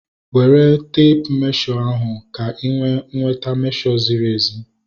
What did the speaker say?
Were teepu mmesho ahu ka ị wee nweta mmesho ziri ezi